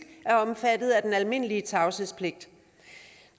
er omfattet af den almindelige tavshedspligt